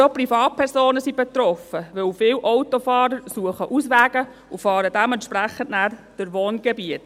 Aber auch Privatpersonen sind betroffen, denn viele Autofahrer suchen Auswege und fahren dementsprechend dann durch Wohngebiete.